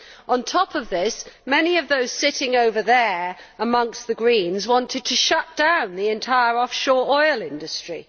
On top of this, many of those sitting over there amongst the Greens wanted to shut down the entire offshore oil industry.